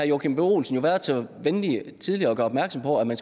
joachim b olsen jo været så venlig tidligere at gøre opmærksom på at man